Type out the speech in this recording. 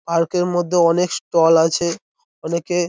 Park -এর মধ্যে অনেক স্টল আছে। অনেকে--